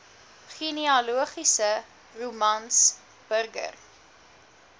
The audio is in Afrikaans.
genealogiese romans burger